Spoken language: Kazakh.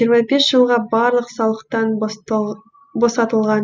жиырма бес жылға барлық салықтан босатылған